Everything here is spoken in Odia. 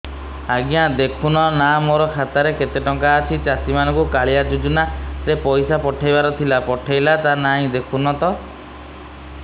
ଆଜ୍ଞା ଦେଖୁନ ନା ମୋର ଖାତାରେ କେତେ ଟଙ୍କା ଅଛି ଚାଷୀ ମାନଙ୍କୁ କାଳିଆ ଯୁଜୁନା ରେ ପଇସା ପଠେଇବାର ଥିଲା ପଠେଇଲା ନା ନାଇଁ ଦେଖୁନ ତ